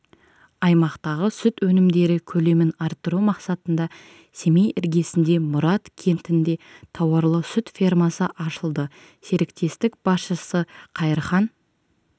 аймақтағы сүт өнімдері көлемін арттыру мақсатында семей іргесінде мұрат кентінде тауарлы-сүт фермасы ашылды серіктестік басшысы қайырхан